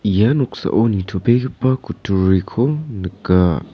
ia noksao nitobegipa kutturiko nika.